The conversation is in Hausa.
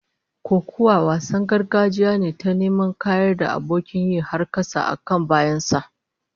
Kokuwa wasan gargajiya ne ta neman kayar da abokin yi har kasa, a kan bayan sa